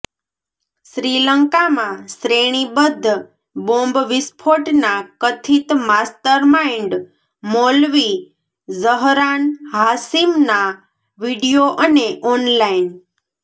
શ્રીલંકામાં શ્રેણીબદ્ધ બોમ્બ વિસ્ફોટના કથિત માસ્ટરમાઇન્ડ મૌલવી ઝહરાન હાશીમનાં વિડિયો અને ઓનલાઇન